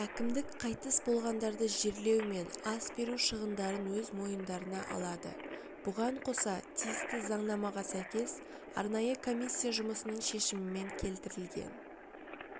әкімдік қайтыс болғандарды жерлеу мен ас беру шығындарын өз мойындарына алады бұған қоса тиісті заңнамаға сәйкес арнайы комиссия жұмысының шешімімен келтірілген